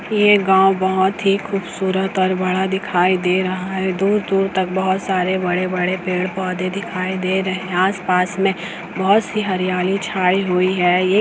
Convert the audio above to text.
ये गाव बहोत ही खूबसूरत और बड़ा दिखाई दे रहा है दूर-दूर तक बहोत सारे बड़े-बड़े पेड़-पौधे दिखाई दे रहे हैं आस-पास में बहोत सी छायी हुई है एक--